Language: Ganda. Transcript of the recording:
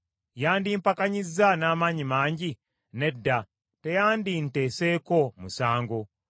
Yandimpakanyizza n’amaanyi mangi? Nedda, teyandinteeseko musango.